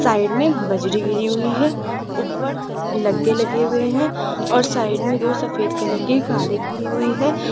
Side में बजरी गिरी हुई है ऊपर लगे लगे हुए हैं और साइड में दो सफेद कलर के कारे खड़े हुई है।